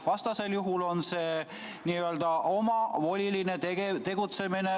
Vastasel juhul on tegu Riigikogu juhatuse liikme omavolilise tegutsemisega.